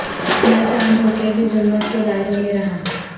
میں چاند ہو کے بھی ظلمت کے دائروں میں رہا